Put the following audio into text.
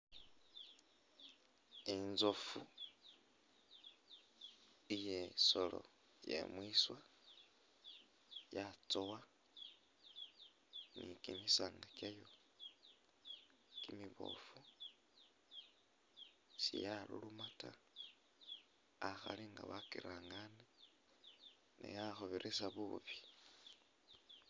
Intsofu eye’solo yemwiswa yatsowa ni kimisanga kyayo kimibofu siyaluluma taa akhari nga wakyirangane neya khubirisa bubi.